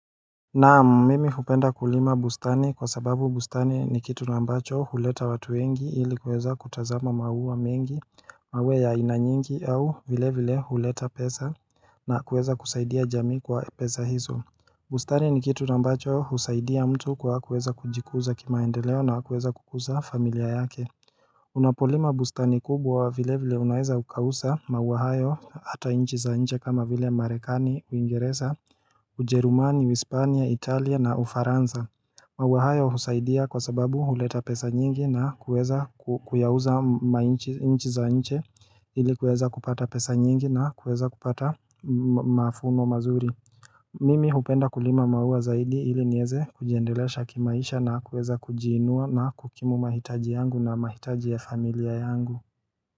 Naam mimi hupenda kulima bustani kwa sababu bustani ni kitu ambacho huleta watu wengi ili kuweza kutazama maua mengi mawe ya inanyingi au vile vile huleta pesa na kuweza kusaidia jamii kwa pesa hizo bustani ni kitu ambacho husaidia mtu kwa kuweza kujikuza kimaendeleo na kuweza kukuza familia yake Unapolima bustani kubwa vile vile unaeza ukauza maua hayo ata inchi za inje kama vile marekani uingereza ujerumani uispania italia na ufaransa maua hayo husaidia kwa sababu huleta pesa nyingi na kuweza kuyauza inchi za inje ili kuweza kupata pesa nyingi na kuweza kupata mavuno mazuri Mimi hupenda kulima maua zaidi ili nieze kujiendelesha kimaisha na kueza kujiinua na kukimu mahitaji yangu na mahitaji ya familia yangu.